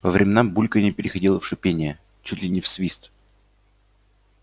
по временам бульканье переходило в шипение чуть ли не в свист